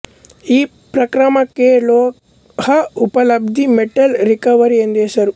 ಈ ಪ್ರಕ್ರಮಕ್ಕೆ ಲೋಹ ಉಪಲಬ್ಧಿ ಮೆಟಲ್ ರಿಕವರಿ ಎಂದು ಹೆಸರು